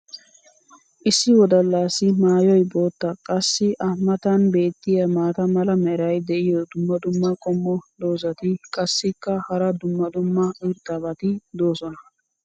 issi wodalaassi maayoy bootta. qassi a matan beetiya maata mala meray diyo dumma dumma qommo dozzati qassikka hara dumma dumma irxxabati doosona.